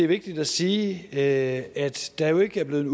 vigtigt at sige at der jo ikke er blevet